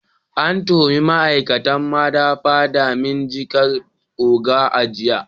An tuhumi ma'aikatan madafa dalilin jinkirta oda a jiya.